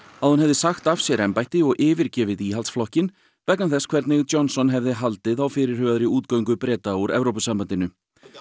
að hún hefði sagt af sér embætti og yfirgefið Íhaldsflokkinn vegna þess hvernig Johnson hefði haldið á fyrirhugaðri útgöngu Breta úr Evrópusambandinu